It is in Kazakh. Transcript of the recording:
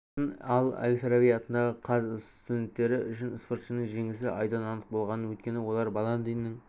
жатқанын ал әл-фараби атындағы қаз студенттері үшін спортшының жеңісі айдан анық болғанын өйткені олар баландиннің